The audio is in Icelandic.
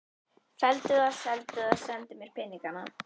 Felldu það, seldu það, sendu mér peningana.